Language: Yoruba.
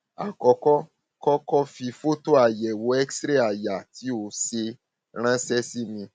àkọkọ kó kó o fi fọtò àyẹwò xray àyà tí o ṣe ránṣẹ sí mi